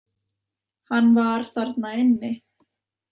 Hann var þarna inni.